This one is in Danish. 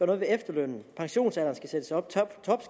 noget ved efterlønnen at pensionsalderen skal sættes op